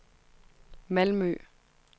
Malmø